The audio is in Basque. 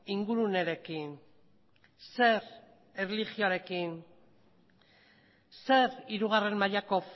ingurunerekin zer erlijioarekin zer hirugarren mailako